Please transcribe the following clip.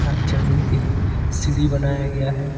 चढ़ने के लिए सीढ़ी बनाया गया है।